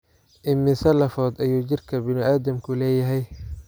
Immisa lafood ayuu jidhka bini'aadamku leeyahay?